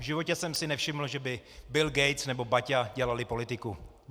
V životě jsem si nevšiml, že by Bill Gates nebo Baťa dělali politiku.